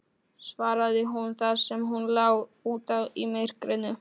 Á þeim birtist sæluríki, ósnortið af styrjöldinni.